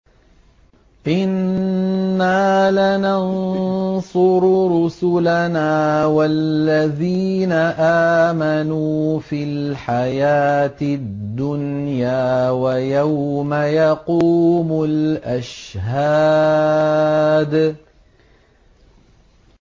إِنَّا لَنَنصُرُ رُسُلَنَا وَالَّذِينَ آمَنُوا فِي الْحَيَاةِ الدُّنْيَا وَيَوْمَ يَقُومُ الْأَشْهَادُ